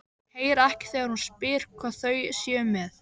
Heyra ekki þegar hún spyr hvað þau séu með.